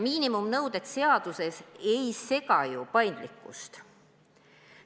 Miinimumnõuded seaduses ei sega ju paindlikkust.